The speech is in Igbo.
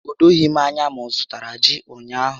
O doghi m ányá ma ọzụtara ji ụnyaahụ